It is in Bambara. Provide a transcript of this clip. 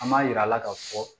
An b'a yira a la ka fɔ